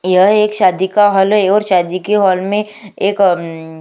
यह एक शादी का हॉल है और शादी के हॉल में एक और उम्म --